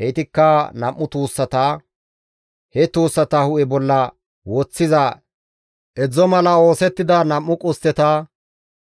Heytikka nam7u tuussata; he tuussata hu7e bolla woththiza edzdzo mala oosettida nam7u qustteta,